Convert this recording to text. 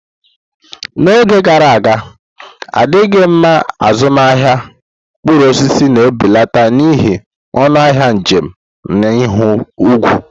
N'oge gara aga, adịghị mma azụmahịa mkpụrụ osisi na-ebilite n'ihi ọnụ ahịa njem na ihu igwe.